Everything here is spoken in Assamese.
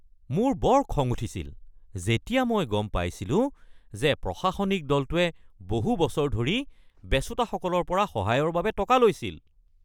মোৰ বৰ খং উঠিছিল যেতিয়া মই গম পাইছিলো যে প্ৰশাসনিক দলটোৱে বহু বছৰ ধৰি বেচোঁতাসকলৰ পৰা সহায়ৰ বাবে টকা লৈছিল।